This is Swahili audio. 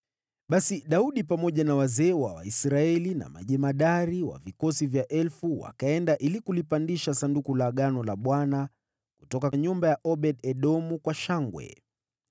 Basi Daudi pamoja na wazee wa Israeli na majemadari wa vikosi vya elfu wakaenda ili kulipandisha Sanduku la Agano la Bwana kutoka nyumba ya Obed-Edomu kwa shangwe.